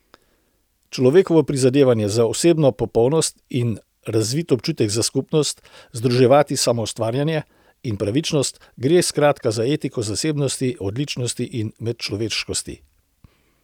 Človekovo prizadevanje za osebno popolnost in razvit občutek za skupnost, združevati samoustvarjanje in pravičnost, gre skratka za etiko zasebnosti, odličnosti in medčloveškosti.